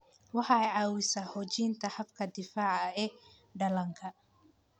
Waxay caawisaa xoojinta habka difaaca ee dhallaanka.